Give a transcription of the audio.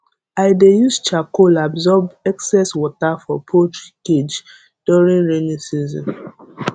i dey use charcoal absorb excess water for poultry cage during rainy season